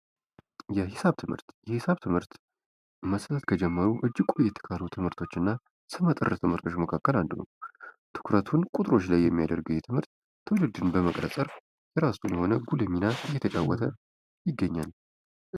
የሒሳብ ትምህርት የሒሳብ ትምህርት ፦ማስተማር ከተጀመሩ እጅግ ቆየት ካሉ ትምህርቶች እና ስመጥር ትምህርቶች መካከል አንዱ ነው። ትኩረቱን ቁጥሮች ላይ የሚያደርገው ይሄ ትምህርት ትውልድን በመቅረጽ ዘርፍ የራሱን የሆነ ጉልህ ሚና እየተጫወተ ይገኛል።